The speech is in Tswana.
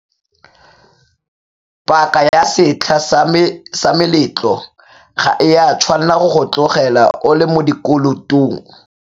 Paaka ya setlha sa meletlo ga e a tshwanela go go tlogela o le mo dikolotong.